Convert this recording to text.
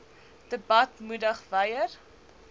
debat moedig wyer